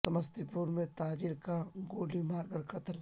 سمستی پور میں تاجر کا گولی مار کر قتل